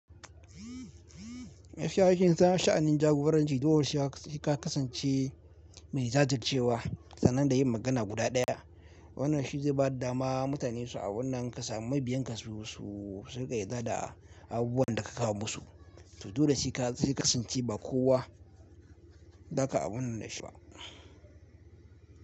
Mafi kyawun shana sha'anin jagoranci, koyaushe sai ka kasance mai jajircewa sannan da yin magana guda daya. Wannan shi zai ba dama mutane su a abunnan kasa mabiya su su din ka yarda da abubuwan da ka kawo musu. To to dole sai ka zai kasance ba kowa za ka amince da shi ba.